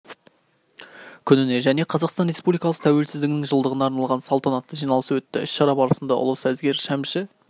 күніне және қазақстан республикасы тәуелсіздігінің жылдығына арналған салтанатты жиналыс өтті іс-шара барысында ұлы сазгер шәмші